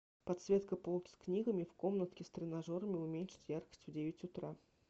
подсветка полки с книгами в комнатке с тренажерами уменьшить яркость в девять утра